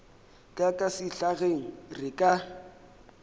ka ka sehlageng re ka